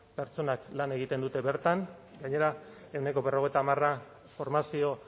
pertsonak lan egiten dute bertan gainera ehuneko berrogeita hamara formazio